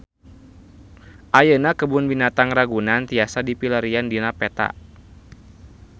Ayeuna Kebun Binatang Ragunan tiasa dipilarian dina peta